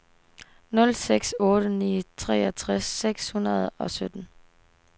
nul seks otte ni treogtres seks hundrede og sytten